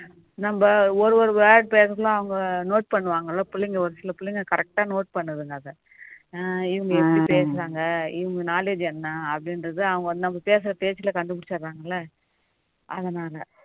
நம்ம ஒரு ஒரு word பேசினா அவங்க note பண்ணுவாங்க பிள்ளைங்க ஒரு சில பிள்ளைங்க correct டா note பண்ணுதுங்க அதை இவங்க எப்படி பேசுறாங்க இவங்க knowledge என்ன அப்படிங்குறதா அவங்க நம்ம பேசுற பேச்சுல கண்டுபிடிச்சிடுறாங்க இல்ல அதனால